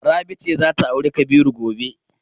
Rabi ce za ta auri Kabiru gobe.